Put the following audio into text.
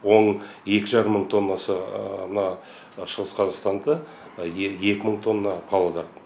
оның екі жарым мың тоннасы мына шығыс қазақстанда екі мың тонна павлодар